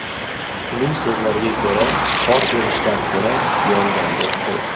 Uning so‘zlariga ko‘ra, qor erishdan ko‘ra, yonganga o‘xshaydi.